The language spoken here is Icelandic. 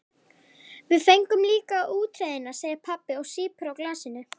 Við fengum líka útreiðina, segir pabbi og sýpur á glasinu.